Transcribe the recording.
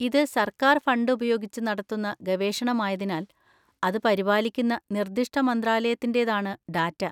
ഇത് സർക്കാർ ഫണ്ട് ഉപയോഗിച്ച് നടത്തുന്ന ഗവേഷണമായതിനാൽ, അത് പരിപാലിക്കുന്ന നിർദ്ദിഷ്ട മന്ത്രാലയത്തിന്‍റേതാണ് ഡാറ്റ.